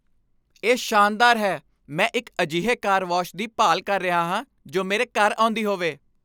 ਇਹ ਸ਼ਾਨਦਾਰ ਹੈ! ਮੈਂ ਇੱਕ ਅਜਿਹੇ ਕਾਰ ਵਾਸ਼ ਦੀ ਭਾਲ ਕਰ ਰਿਹਾ ਹਾਂ ਜੋ ਮੇਰੇ ਘਰ ਆਉਂਦੀ ਹੋਵੇ।